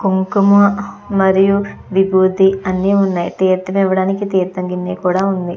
కుంకుమ మరియు విభూది అన్నీ ఉన్నాయ్ తీర్థం ఇవ్వడానికి తీర్థం కూడా వుంది.